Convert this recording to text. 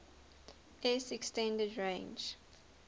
s extended range